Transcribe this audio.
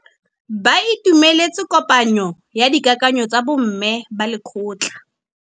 Ba itumeletse kôpanyo ya dikakanyô tsa bo mme ba lekgotla.